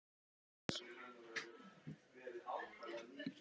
og tíðin verður ný.